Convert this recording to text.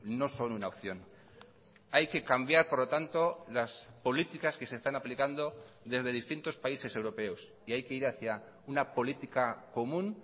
no son una opción hay que cambiar por lo tanto las políticas que se están aplicando desde distintos países europeos y hay que ir hacia una política común